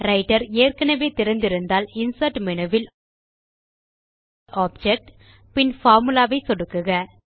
writer ஏற்கெனெவே திறந்து இருந்தால்Insert மேனு ல் ஆப்ஜெக்ட் பின் பார்முலா ஐ சொடுக்குக